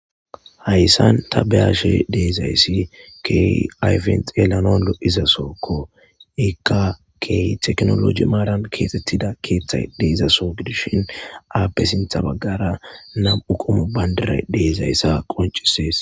Hayssan ta beashe deizaysi kehi ayfes xeelanas loiiza sohoko iika kehi tekkinolojje maaran kexxetida keththay deiiza soho giidishin appe sinththa baggara nam'u qommo bandiray deiizayssa qonccises.